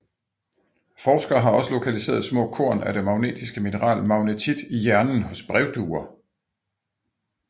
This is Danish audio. Forskere har også lokaliseret små korn af det magnetiske mineral magnetit i hjernen hos brevduer